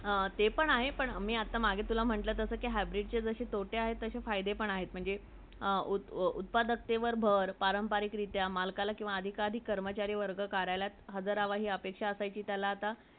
ते पण आहे पण मी आता मघे मी तुला म्हटलं hybrid जसे तोटे आहेत तक्षे फायदे पण आहेत म्हणजे उत्प उतपाडेकट्यावर भर परंपरिक रित्या , मालकवर भर , अधिकारी ,कर्मचारी वर्ग हजार हवी अशी अपेक्षा असायची त्याला आता